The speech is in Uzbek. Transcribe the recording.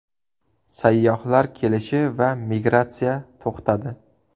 Sayyohlar kelishi va migratsiya to‘xtadi.